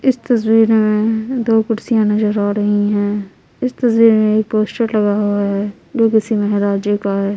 इस तस्वीर में दो कुर्सियां नजर आ रही हैं इस तस्वीर में एक पोस्टर लगा हुआ है जो किसी महराजे का है।